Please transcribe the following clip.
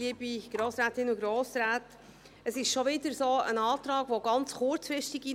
Es ist schon wieder ein Antrag, der ganz kurzfristig einging.